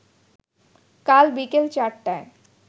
কাল বিকেল চারটায়